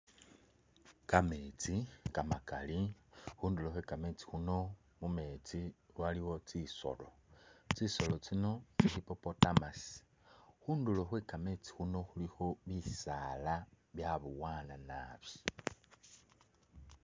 Kametsi kamakaali khundulo khwe kametsi khuuno mumetsi waliwo tsi soolo tsisoolo tsino tsi'hippotamus, khundulo khwe kametsi khuuno khulikho bisaala byabowana naabi